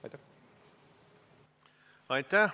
Aitäh!